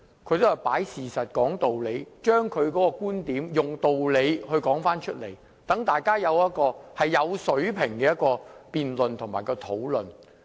她也是擺事實、講道理，以道理說出觀點，令大家可以進行有水平的辯論和討論。